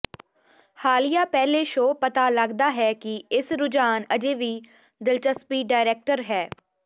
ਹਾਲੀਆ ਪਹਿਲੇ ਸ਼ੋਅ ਪਤਾ ਲੱਗਦਾ ਹੈ ਕਿ ਇਸ ਰੁਝਾਨ ਅਜੇ ਵੀ ਦਿਲਚਸਪੀ ਡਾਇਰੈਕਟਰ ਹੈ